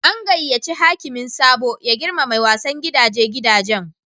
An gayace hakimin Sabo ya girmama wasan gidaje gidajen.